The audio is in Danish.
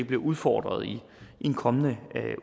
bliver udfordret i en kommende